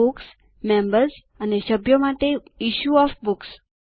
books members અને સભ્યો માટે ઇશ્યુ ઓએફ બુક્સ